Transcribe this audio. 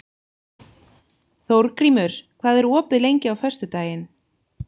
Þórgrímur, hvað er opið lengi á föstudaginn?